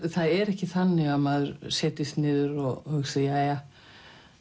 það er ekki þannig að maður setjist niður og hugsi jæja